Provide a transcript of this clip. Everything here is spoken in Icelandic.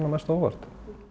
mest á óvart